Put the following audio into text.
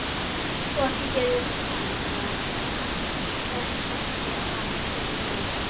Og ekki gerir hann það endasleppt við hana Önnu mína.